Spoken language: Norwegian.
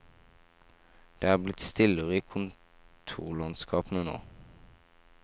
Det er blitt stillere i kontorlandskapene nå.